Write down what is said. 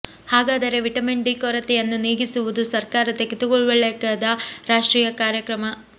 ಹಾಗಾದರೆ vitamin D ಕೊರತೆಯನ್ನು ನೀಗಿಸುವುದು ಸರ್ಕಾರ ತೆಗೆದುಕೊಳ್ಳಬೇಕಾದ ರಾಷ್ಟ್ರೀಯ ಕಾರ್ಯಕ್ರಮ